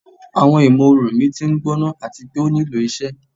Awọn imooru mi ti ngbona ati pe o nilo iṣẹ